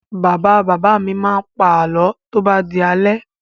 Bàbá-bàbá mi máa ń pa àlọ́ tó bá di alẹ́.